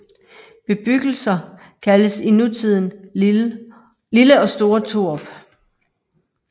Bebyggelser kaldes i nutiden Lille og Store Torup